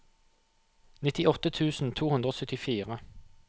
nittiåtte tusen to hundre og syttifire